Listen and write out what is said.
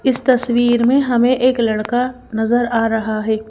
इस तस्वीर में हमें एक लड़का नजर आ रहा है।